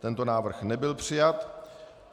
Tento návrh nebyl přijat.